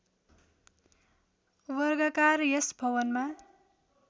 वर्गाकार यस भवनमा